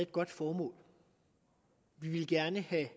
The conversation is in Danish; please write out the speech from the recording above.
godt formål vi vil gerne have